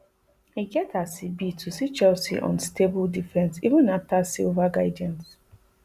e get as e be to see chelsea unstable defence even afta silva guidance